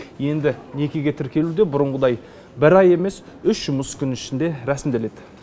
енді некеге тіркелу де бұрынғыдай бір ай емес үш жұмыс күн ішінде рәсімделеді